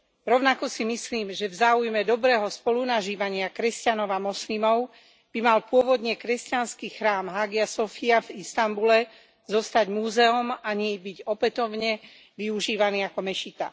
Rovnako si myslím, že v záujme dobrého spolunažívania kresťanov a moslimov by mal pôvodne kresťanský chrám Hagia Sofia v Istanbule zostať múzeom a nie byť opätovne využívaný ako mešita.